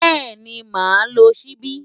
Bẹ́ẹ̀ni, màá lo ṣíbí.